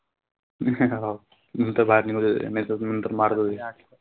मी हे नंतर